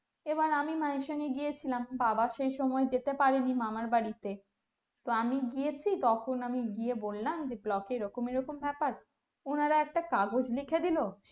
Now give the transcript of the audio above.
আবার আমি মা আর সঙ্গে গিয়েছিলাম বাবা সেই সময় যেতে পারিনে মামার বাড়িতে তা আমি গিয়েছি তখন আমি গিয়ে বললাম যে block এ এরকম এরকম ব্যাপার ওনারা একটা কাগজ লিখে দিলো